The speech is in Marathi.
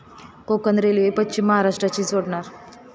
कोकण रेल्वे पश्चिम महाराष्ट्राशी जोडणार